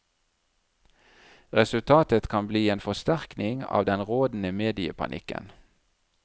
Resultatet kan bli en forsterkning av den rådende mediepanikken.